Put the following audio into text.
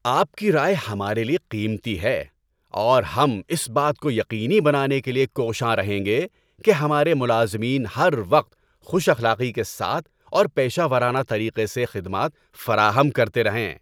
آپ کی رائے ہمارے لیے قیمتی ہے، اور ہم اس بات کو یقینی بنانے کے لیے کوشاں رہیں گے کہ ہمارے ملازمین ہر وقت خوش اخلاقی کے ساتھ اور پیشہ ورانہ طریقے سے خدمات فراہم کرتے رہیں۔